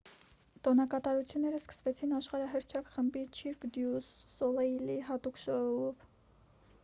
տոնակատարությունները սկսվեցին աշխարհահռչակ խմբի չիրկ դյու սոլեյլի հատուկ շոուով